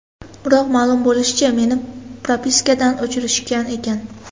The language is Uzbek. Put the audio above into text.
Biroq, ma’lum bo‘lishicha, meni propiskadan o‘chirishgan ekan.